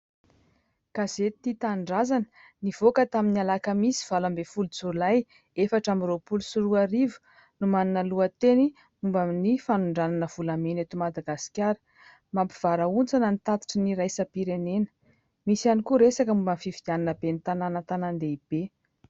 Gazety " Tia Tanindrazana " nivoaka tamin'ny alakamisy valo ambin'ny folo jolay efatra amby roapolo sy roa arivo no manana lohateny momban'ny " fanondranana volamena eto Madagasikara mampivarahontsana ny tatitry ny iraisam-pirenena " misy ihany koa resaka momban'ny " Fifidianana ben'ny tanàna an-tanàn-dehibe. "